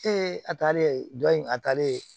a taalen dɔ in a taalen yen